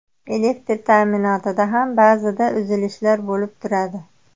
Elektr ta’minotida ham ba’zida uzilishlar bo‘lib turadi.